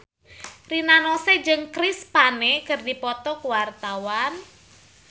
Rina Nose jeung Chris Pane keur dipoto ku wartawan